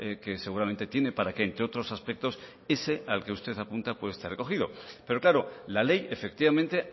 que seguramente tiene para que entre otros aspectos ese al que usted apunta pueda estar recogido pero claro la ley efectivamente